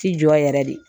Ti jɔ yɛrɛ de